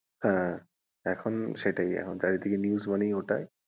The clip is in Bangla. হ্যাঁ এখন সেটাই এখন চারিদিকে news মানে ওটাই,